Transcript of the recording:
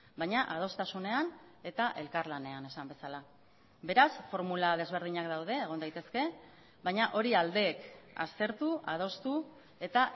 baina adostasunean eta elkarlanean esan bezala beraz formula desberdinak daude egon daitezke baina hori aldeek aztertu adostu eta